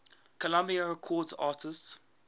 columbia records artists